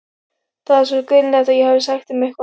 Það var sko greinilegt að ég hefði sagt þeim eitthvað.